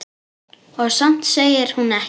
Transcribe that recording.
Og samt segir hún ekkert.